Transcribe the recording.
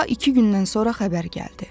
Daha iki gündən sonra xəbər gəldi.